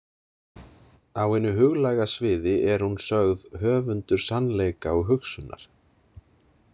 Á hinu huglæga sviði er hún sögð höfundur sannleika og hugsunar.